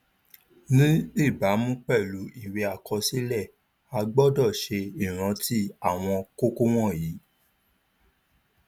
ní ìbámu pèlú ìwé àkọsílẹ a gbọdọ ṣe ìrántí àwọn kókó wọnyí